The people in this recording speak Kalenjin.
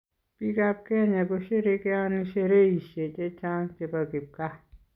Biikab kenya kosherekeoni sherehishe che chang che bo kipkaa.